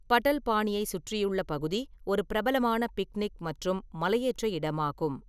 பட்டல்பானியை சுற்றியுள்ள பகுதி ஒரு பிரபலமான பிக்னிக் மற்றும் மலையேற்ற இடமாகும்.